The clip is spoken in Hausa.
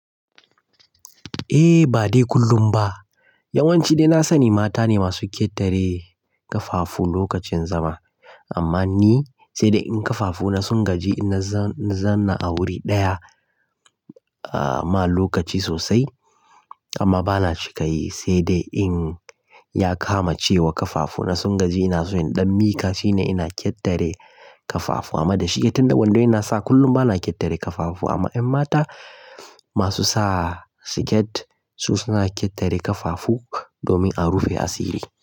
Eh ba dai kullum ba yawanci dai na sani mata ne masu kyetare ƙafafu lokacin zama amma ni sai dai in ƙafafu na sun gaji in na zanna a wuri ɗaya a ma lokaci sosai amma bana cika yi sai dai in ya kama cewa ƙafafu na sun gaji ina soyon ɗan mika shine ina kyetare ƙafafu amma da shi itande wando ina sa kullum bana kyatare ƙafafu amma in mata masu sa siket su suna kyatare ƙafafu domin a rufe asiri.